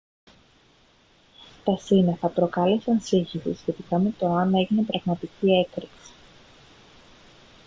τα σύννεφα προκάλεσαν σύγχυση σχετικά με το εάν έγινε πραγματική έκρηξη